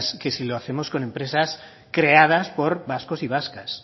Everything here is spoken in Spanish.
que si lo hacemos con empresas creadas por vascos y vascas